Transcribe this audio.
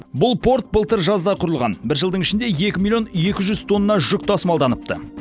бұл порт былтыр жазда құрылған бір жылдың ішінде екі миллион екі жүз тонна жүк тасымалданыпты